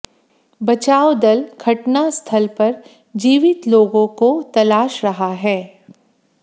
बचाव दल घटनास्थल पर जीवित लोगों को तलाश रहा है